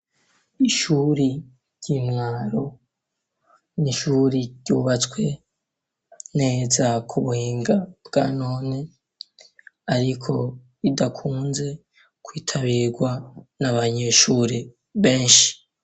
ishuri ry'intwaro n'ishuri ryubatswe neza ku buhinga bwanone ariko idakunze kwitabirwa n'abanyeshuri benshi.